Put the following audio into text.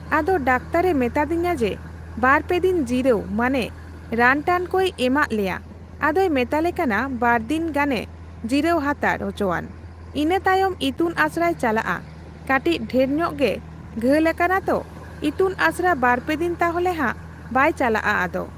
ᱟᱫᱚ ᱰᱟᱠᱛᱟᱨᱮ ᱢᱮᱛᱟᱫᱤᱧᱟᱹ ᱡᱮ ᱵᱟᱨᱯᱮᱫᱤᱱ ᱡᱤᱨᱟᱹᱣ ᱢᱟᱱᱮ ᱨᱟᱱᱴᱟᱱ ᱠᱩᱭ ᱮᱢᱟᱜ ᱞᱮᱭᱟ ᱟᱫᱚᱭ ᱢᱮᱛᱟᱞᱮ ᱠᱟᱱᱟ ᱵᱟᱨᱫᱤᱱ ᱜᱟᱱᱮ ᱡᱤᱨᱟᱹᱣ ᱦᱟᱛᱟᱲ ᱚᱪᱚᱣᱟᱱ ᱤᱱᱟᱹ ᱛᱟᱭᱚᱢ ᱤᱛᱩᱱ ᱟᱥᱲᱟᱭ ᱪᱟᱞᱟᱜ ᱟ ᱠᱟᱴᱤᱪ ᱰᱷᱮᱨᱧᱚᱜ ᱜᱮ ᱜᱷᱟᱹᱞ ᱟᱠᱟᱱᱟ ᱛᱚ ᱤᱛᱩᱱᱟᱥᱲᱟ ᱵᱟᱨᱯᱮᱫᱤᱱ ᱛᱟᱦᱚᱞᱮ ᱦᱟᱜ ᱵᱟᱭᱪᱟᱞᱟᱜ ᱟᱫᱚ